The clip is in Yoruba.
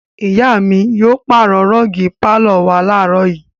Ìyá mi yóò pàrọ̀ rọ́ọ́gì pálọ̀ wa láàárọ̀ yìí.